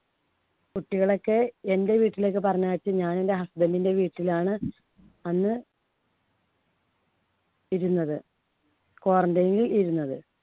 കുട്ടികളെക്കെ എൻടെ വീട്ടിലേക്ക് പറഞ്ഞയച്ചു. ഞാൻ എൻടെ husband ന്‍ടെ വീട്ടിലാണ് അന്ന് ഇരുന്നത്. quarantine ൽ ഇരുന്നത്.